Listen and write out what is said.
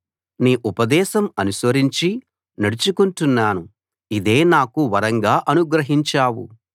నీ ఉపదేశం అనుసరించి నడుచుకుంటున్నాను ఇదే నాకు వరంగా అనుగ్రహించావు